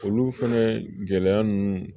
Olu fɛnɛ gɛlɛya ninnu